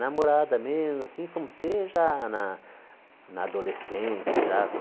Namorada mesmo, assim fomos ter já na na adolescência, já com